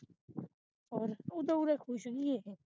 ਹੋਰ ਉਹ ਤੇ ਊਰੇ ਖੁਸ਼ ਵੀ ਏਹੇ